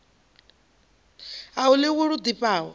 a hu ḽiwi lu ḓifhaho